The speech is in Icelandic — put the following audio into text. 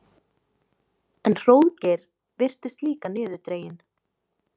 En Hróðgeir virtist líka niðurdreginn.